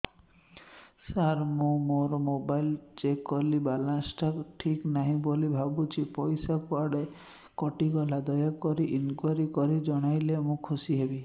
ସାର ମୁଁ ମୋର mobile check କଲି ବାଲାନ୍ସ ଟା ଠିକ ନାହିଁ ବୋଲି ଭାବୁଛି ପଇସା କୁଆଡେ କଟି ଗଲା କି ଦୟାକରି ଇନକ୍ୱାରି କରି ଜଣାଇଲେ ମୁଁ ଖୁସି ହେବି